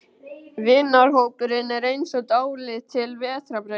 Vinahópurinn er eins og dálítil vetrarbraut.